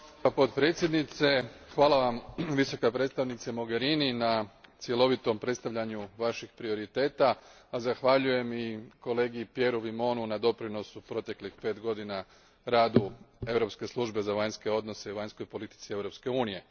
Gospodine predsjedniče, potpredsjednice, hvala vam Visoka predstavnice Mogerini na cjelovitom predstavljanju vaših prioriteta, a zahvaljujem i kolegi Pierreu Vimontu na doprinosu proteklih pet godina radu Europske službe za vanjsko djelovanje i vanjskoj politici Europske unije.